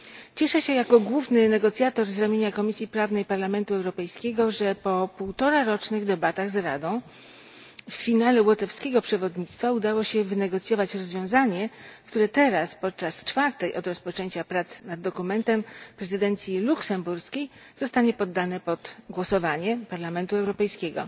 Cieszę się jako główny negocjator z ramienia Komisji Prawnej Parlamentu Europejskiego, że po półtorarocznych debatach z Radą w finale łotewskiego przewodnictwa udało się wynegocjować rozwiązanie, które teraz podczas czwartej od rozpoczęcia prac nad dokumentem prezydencji, luksemburskiej zostanie poddane pod głosowanie Parlamentu Europejskiego.